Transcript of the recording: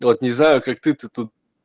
ну вот не знаю как ты то тут